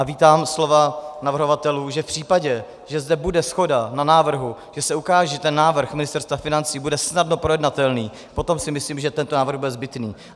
A vítám slova navrhovatelů, že v případě, že zde bude shoda na návrhu, že se ukáže, že návrh Ministerstva financí bude snadno projednatelný, potom si myslím, že tento návrh bude zbytný.